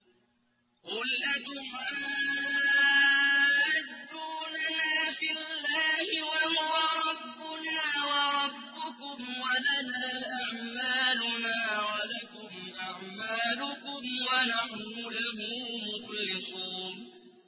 قُلْ أَتُحَاجُّونَنَا فِي اللَّهِ وَهُوَ رَبُّنَا وَرَبُّكُمْ وَلَنَا أَعْمَالُنَا وَلَكُمْ أَعْمَالُكُمْ وَنَحْنُ لَهُ مُخْلِصُونَ